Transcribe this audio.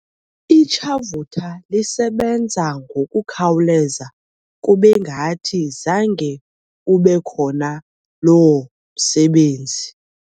Itshavutha lisebenza ngokukhawuleza kube ngathi zange ube khona loo msebenzi.